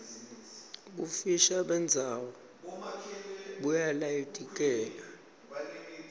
bufisha bendzawo buyalayiteleka